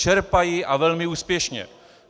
Čerpají, a velmi úspěšně.